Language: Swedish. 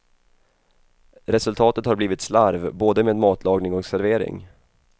Resultatet har blivit slarv, både med matlagning och servering.